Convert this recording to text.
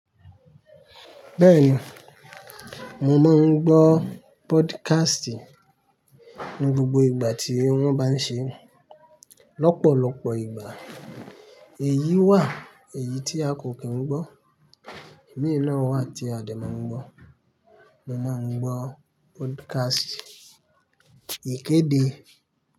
Bẹ́ẹ̀ni, mo máa ń gbọ́ podcast ní gbogbo ìgbà tí wọ́n bá ń ṣe. Lọ́pọ̀lọpọ̀ ìgbà èyí wà èyí tí a kò kí n gbọ́, èyí náà wà tí a dẹ̀ máa ń gbọ́. Mo máa ń gbọ́ podcast ìkéde.